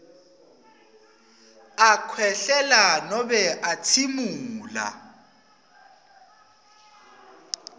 akhwehlela nobe atsimula